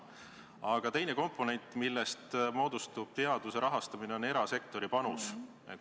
Aga teine komponent, millest moodustub teaduse rahastamine, on erasektori panus.